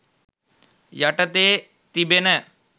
යටතේ තිබෙන.